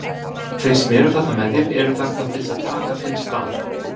Þeir sem eru þarna með þér eru þarna til þess að taka þinn stað.